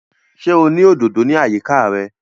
Ṣé o ní òdòdò ní àyíká rẹ̀?